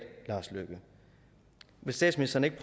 lars løkke vil statsministeren ikke